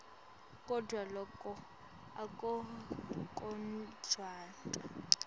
kodvwa loku akukanconotwa